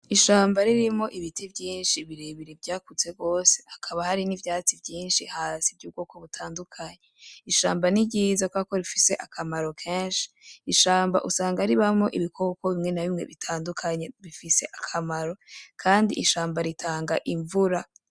Ishamba ririmwo ibiti vyinshi birebire vyakuze gose hakaba harimwo n’ivyatsi vyinshi hasi vy’ubwoko butandukanye . Ishamba ni ryiza kubera ko rifise akamaro kenshi , ishamba usanga ribamwo ibikoko bitandukanye bifise akamaro Kandi ishamba ritanga imvura.